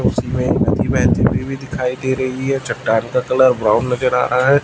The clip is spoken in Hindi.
उसमें भी दिखाई दे रही है चट्टान का कलर ब्राउन नजर आ रहा है।